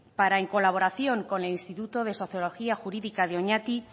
para en colaboración con el instituto de sociología jurídica de oñati